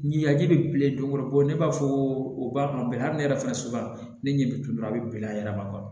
Ɲɛji bɛ bilen dɔ kɔrɔ bɔ ne b'a fɔ ko u b'a kɔnɔ bɛɛ hali ne yɛrɛ fana so ne ɲɛ bɛ tulu la a bɛ bɛn a yɛrɛ ma